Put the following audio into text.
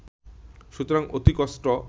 সুতরাং অতি কষ্ট